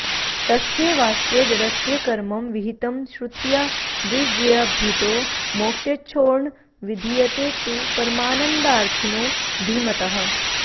तस्यैवास्य जडस्य कर्मं विहितं श्रुत्या विरज्याभितो मोक्षेच्छोर्न विधीयते तु परमानन्दार्थिनो धीमतः